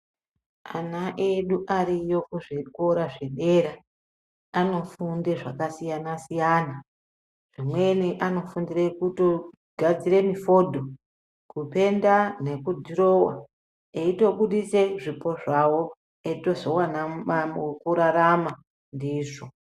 Ana edu ariyo kuzvikora zvedera anofunde zvakasiyana siyana. Zvimweni anofundira kugadzira mifodho, kupenda nekutodhirowa eitobudisa zvipo zvawo eitozoona kurarama ndizvo.